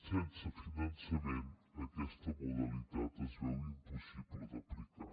sense finançament aquesta modalitat es veu impossible d’aplicar